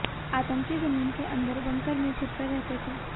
आतंकी जमीन के अंदर बंकर में छिप कर रहते थे